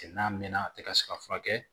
N'a mɛnna a tɛ ka se ka furakɛ